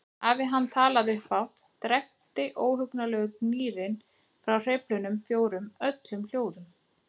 Hafi hann talað upphátt drekkti ógurlegur gnýrinn frá hreyflunum fjórum öllum hljóðum.